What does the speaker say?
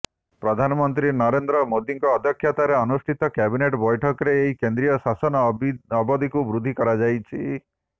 ପ୍ରଧାନମନ୍ତ୍ରୀ ନରେନ୍ଦ୍ର ମୋଦିଙ୍କ ଅଧ୍ୟକ୍ଷତାରେ ଅନୁଷ୍ଠିତ କ୍ୟାବିନେଟ୍ ବୈଠକରେ ଏହି କେନ୍ଦ୍ରୀୟ ଶାସନ ଅବଧିକୁ ବୃଦ୍ଧି କରାଯାଇଛି